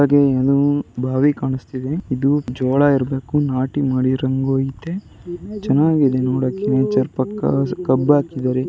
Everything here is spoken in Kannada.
ಹಾಗೆ ಅದು ಬಾವಿ ಕಾಣುಸ್ತಿದೆ ಇದು ಜೋಳ ಇರ್ಬೇಕು ನಾಟಿ ಮಾಡಿರಂಗೂ ಐತೆ ಚೆನ್ನಾಗಿದೆ ನೋಡಕ್ಕೆ ನೇಚರ್ ಪಕ್ಕ ಕಬ್ಬು ಹಾಕಿದ್ದಾರೆ.